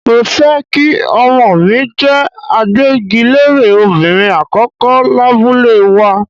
Mo fẹ́ kí Ọmọọ̀ mi jẹ́ agbẹ́gilére obìnrin àkọ́kọ́ lábúlé wa.